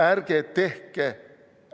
Ärge tehke!